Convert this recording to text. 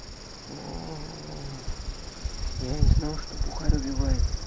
оо а я не знал что бухарь убивает